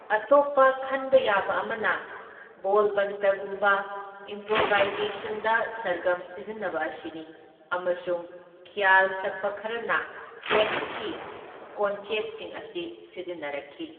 ꯑꯇꯣꯞꯄ ꯈꯟꯕ ꯌꯥꯕ ꯑꯃꯅ ꯕꯣꯜꯕꯟꯇꯒꯨꯝꯕ ꯏꯝꯄ꯭ꯔꯣꯚꯥꯏꯖꯦꯁꯟꯗ ꯁꯔꯒꯝ ꯁꯤꯖꯤꯟꯅꯕ ꯑꯁꯤꯅꯤ ꯑꯃꯁꯨꯡ ꯈ꯭ꯌꯥꯜ ꯁꯛꯄ ꯈꯔꯅ ꯇꯦꯛꯁꯀꯤ ꯀꯣꯟꯆꯦꯠꯁꯤꯡ ꯑꯁꯤ ꯁꯤꯖꯤꯟꯅꯔꯛꯈꯤ꯫